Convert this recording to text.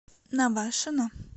навашино